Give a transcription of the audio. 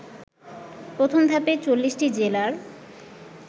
প্রথম ধাপে ৪০টি জেলার